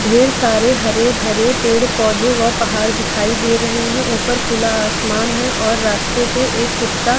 ढेर सारे हरे भरे पेड़-पौधे व पहाड़ दिखाई दे रहे हैं ऊपर खुला आसमान है और रास्ते पर एक कुत्ता--